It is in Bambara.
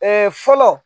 fɔlɔ